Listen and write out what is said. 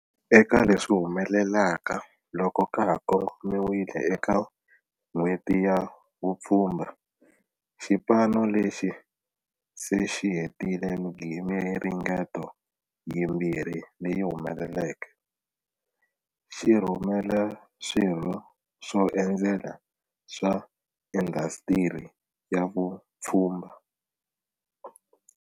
Eka leswi humelelaka loko ka ha kongomiwile eka N'hweti ya Vupfhumba, xipano lexi se xi hetile miringeto yimbirhi leyi humeleleke, xi rhurhela swirho swo endzela swa indasitiri ya vupfhumba.